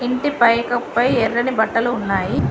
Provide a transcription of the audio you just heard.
ఇంటి పై కప్పు పై ఎర్రని బట్టలు ఉన్నాయి.